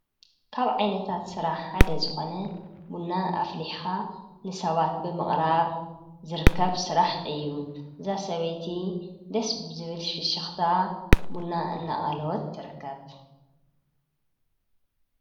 ካብ ዓይነታት ስራሕ ሓደ ዝኮነ ቡና ኣፍሊሕካ ንሰባት ብምቅራብ ዝርከብ ስራሕ እዩ:: እዛ ሰበይቲ ደስ ብዝብል ፍሽክታ ቡና እናቀለወት ትርከብ።